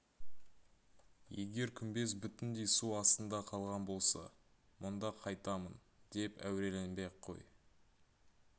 егер күмбез бүтіндей су астында қалған болса мұнда қайтамын деп әуреленбей-ақ қой